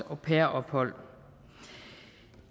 au pair ophold